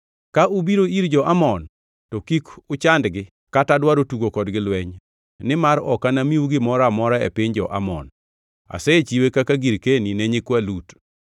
Ka ubiro ir jo-Amon, to kik uchandgi kata dwaro tugo kodgi lweny, nimar ok anamiu gimoro amora e piny jo-Amon. Asechiwe kaka girkeni ne nyikwa Lut.”